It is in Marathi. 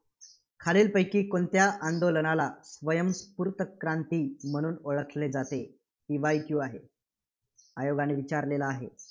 खालीलपैकी कोणत्या आंदोलनाला स्वयंस्फूर्त क्रांती म्हणून ओळखले जाते? PYQ आहे, आयोगाने विचारलेला आहे.